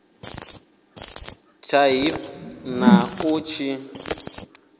tsha hiv na u tshi